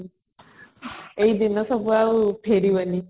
ଏଇଦିନ ସବୁ ଆଉ ଫେରିବନି